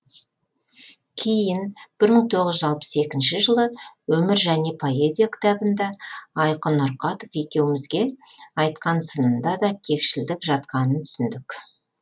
кейін бір мың тоғыз жүз алпыс екінші жылы өмір және поэзия кітабында айқын нұрқатов екеумізге айтқан сынында да кекшілдік жатқанын түсіндік